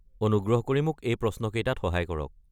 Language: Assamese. অনুগ্ৰহ কৰি মোক এই প্ৰশ্নকেইটাত সহায় কৰক।